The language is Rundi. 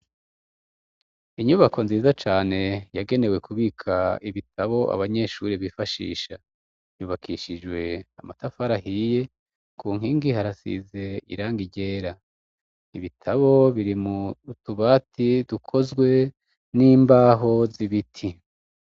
Inyubako nziza cane yagenewe kubika ibitabo abanyeshure bifashisha, yubakishijwe amatafari ahiye, ku nkingi harasize irangi ryera, ibitabo biri mu tubati dukozwe mu mbaho z' ibiti.